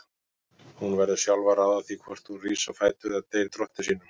Hún verður sjálf að ráða því hvort hún rís á fætur eða deyr drottni sínum.